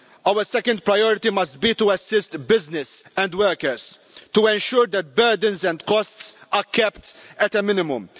Our second priority must be to assist business and workers to ensure that burdens and costs are kept at a minimum.